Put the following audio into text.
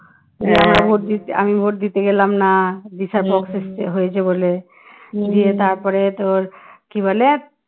আমি vote দিতে গেলাম না বিশাল পক্স হয়েছে বলে দিয়ে তারপরে তোর কি বলে